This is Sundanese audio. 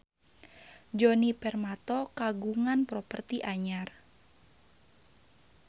Djoni Permato kagungan properti anyar